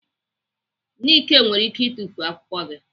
Nike nwere ike itufu akwụkwọ gị.